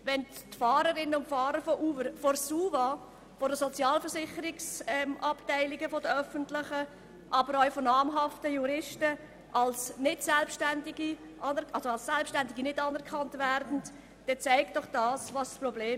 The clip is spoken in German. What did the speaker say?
Wenn die Fahrerinnen und Fahrer von Uber von der SUVA, von den Sozialversicherungsabteilungen der öffentlichen Hand und auch von namhaften Juristen nicht als selbständig anerkannt werden, dann zeigt das doch das Problem.